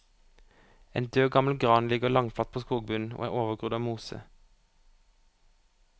En død gammel gran ligger langflat på skogbunnen og er overgrodd av mose.